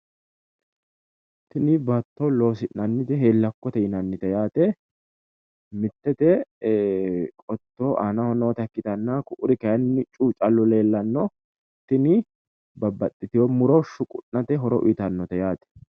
Tini baatto loosina'nite heellakkote yinannite yaate. Mittete qotto aanaho noota ikkitanna ku'uri kaayiinni cu''u callu leellanno, tini babbaxitino muro shuqu'nate horo uuyitannote yaate.